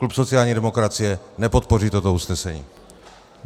Klub sociální demokracie nepodpoří toto usnesení.